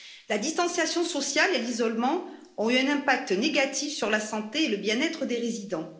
La distanciation sociale et l'isolement ont eu un impact négatif sur la santé et le bien être des résidents.